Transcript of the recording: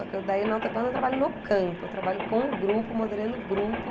Só que daí, na Outerbound, eu trabalho no campo, eu trabalho com o grupo, moderando o grupo,